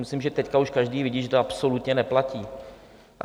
Myslím, že teď už každý vidí, že to absolutně neplatí.